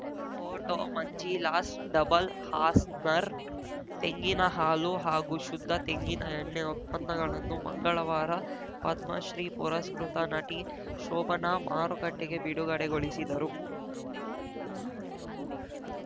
photo Manjilas double horse ನರ್ ತೆಂಗಿನ ಹಾಲು ಹಾಗೂ ಶುದ್ಧ ತೆಂಗಿನಎಣ್ಣೆ ಉತ್ಪನ್ನಗಳನ್ನು ಮಂಗಳವಾರ ಪದ್ಮ ಶ್ರೀ ಪುರಸ್ಕೃತ ನಟಿ ಶೋಭನಾ ಮಾರುಕಟ್ಟೆಗೆ ಬಿಡುಗಡೆಗೊಳಿಸಿದರು